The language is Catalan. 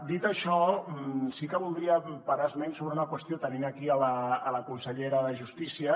dit això sí que voldríem parar esment sobre una qüestió tenint aquí la consellera de justícia